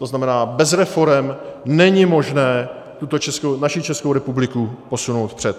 To znamená, bez reforem není možné naší Českou republiku posunout vpřed.